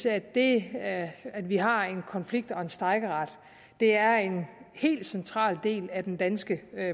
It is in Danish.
at det at vi har en konflikt og strejkeret er en helt central del af den danske